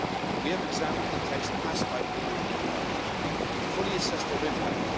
We have examined the texts passed by the Romanian Parliament to fully assess their impact.